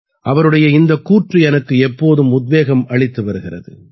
அவருடைய இந்தக் கூற்று எனக்கு எப்போதும் உத்வேகம் அளித்து வருகிறது